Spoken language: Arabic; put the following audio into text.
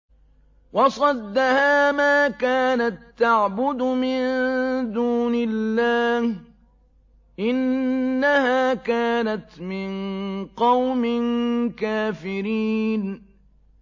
وَصَدَّهَا مَا كَانَت تَّعْبُدُ مِن دُونِ اللَّهِ ۖ إِنَّهَا كَانَتْ مِن قَوْمٍ كَافِرِينَ